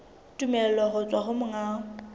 tumello ho tswa ho monga